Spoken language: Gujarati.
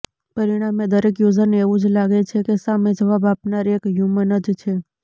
પરિણામે દરેક યુઝરને એવું જ લાગે છે કે સામે જવાબ આપનાર એક હ્યુમન જ છે